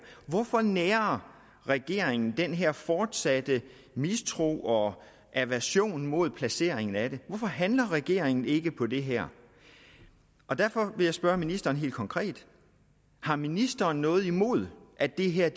hvorfor nærer regeringen den her fortsatte mistro og aversion mod placeringen af det hvorfor handler regeringen ikke på det her derfor vil jeg spørge ministeren helt konkret har ministeren noget imod at det her